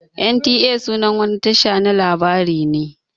NTA sunan wani Tasha na labari ne.